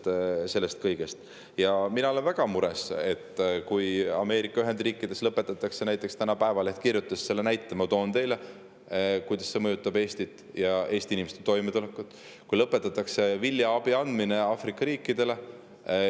Täna kirjutas Päevaleht, et Ameerika Ühendriikides lõpetatakse – toon teile selle näite, et, kuidas see mõjutab Eestit ja Eesti inimeste toimetulekut – viljaabi andmine Aafrika riikidele.